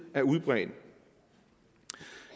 er udbredt